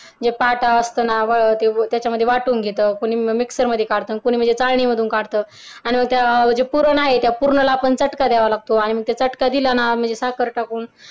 जे पाटा असत ना त्याच्यामध्ये कुणी वाटून घेत कुणी मिक्सर मध्ये काढत आणि म्हणजे कुणी म्हणजे चाळणी मधून काढत आणि मी त्या पूर्ण आहे त्या पुरणाला चटका द्यावा लागतो आणि मग त्या चटका दिला ना म्हणजे साखर टाकून